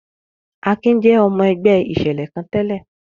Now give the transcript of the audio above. Akin jẹ́ ọmọ-ẹgbẹ́ ìṣẹ̀lẹ̀ kan tẹ́lẹ̀.